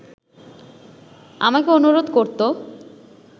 আমাকে অনুরোধ করত